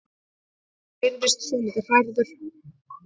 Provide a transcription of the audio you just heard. Hann virðist svolítið hrærður.